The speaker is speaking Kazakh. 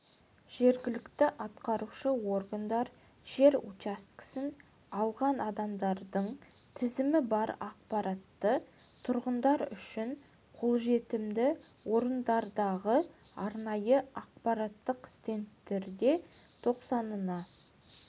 жергілікті атқарушы органдар жер учаскесін алған адамдардың тізімі бар ақпаратты тұрғындар үшін қолжетімді орындардағы арнайы ақпараттық стендтерде тоқсанына